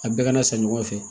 A bɛɛ kana san ɲɔgɔn fɛ